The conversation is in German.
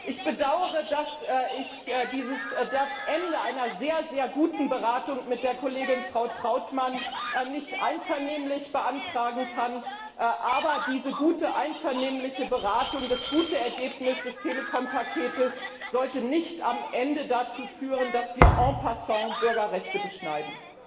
Ich bedaure, dass ich dies am Ende einer sehr, sehr guten Beratung mit der Kollegin Frau Trautmann nicht einvernehmlich beantragen kann, aber diese gute einvernehmliche Beratung, das gute Ergebnis des Telekom Paketes sollte nicht am Ende dazu führen, dass wir en passant Bürgerrechte beschneiden.